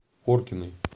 коркиной